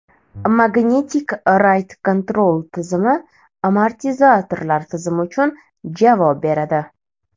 Magnetic Ride Control tizimi amortizatorlar tizimi uchun javob beradi.